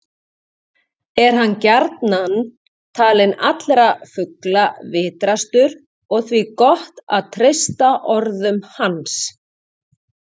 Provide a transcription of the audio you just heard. Er hann gjarnan talinn allra fugla vitrastur og því gott að treysta orðum hans.